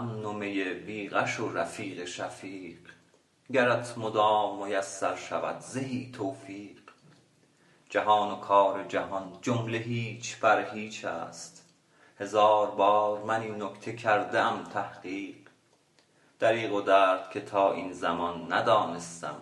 مقام امن و می بی غش و رفیق شفیق گرت مدام میسر شود زهی توفیق جهان و کار جهان جمله هیچ بر هیچ است هزار بار من این نکته کرده ام تحقیق دریغ و درد که تا این زمان ندانستم